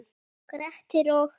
Grettir og